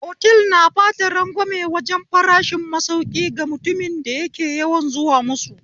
Otal na bada ragwame wajen farashin masauki ga mutumin da yake yawan zuwa musu